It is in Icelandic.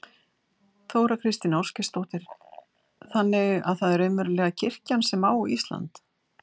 Þóra Kristín Ásgeirsdóttir: Þannig að það er raunverulega kirkjan sem á Ísland?